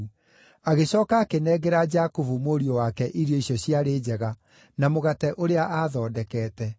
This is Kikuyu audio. Agĩcooka akĩnengera Jakubu mũriũ wake irio icio ciarĩ njega na mũgate ũrĩa aathondekete.